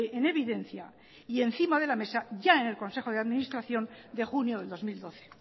en evidencia y encima de la mesa ya en el consejo de administración de junio del dos mil doce